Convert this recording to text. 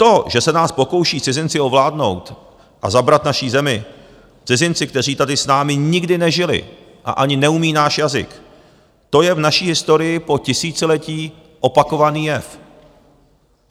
To, že se nás pokouší cizinci ovládnout a zabrat naši zemi, cizinci, kteří tady s námi nikdy nežili a ani neumí náš jazyk, to je v naší historii po tisíciletí opakovaný jev.